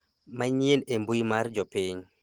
manyien e mbui mar jopiny